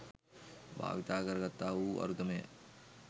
භාවිත කරගත්තා වූ අරුතමය.